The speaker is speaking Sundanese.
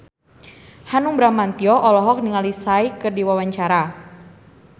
Hanung Bramantyo olohok ningali Psy keur diwawancara